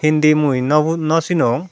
indi mui naw hu nosinong.